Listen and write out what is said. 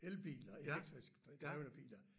Elbiler elektrisk drevne biler